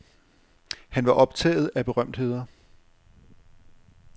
Han var optaget af berømtheder.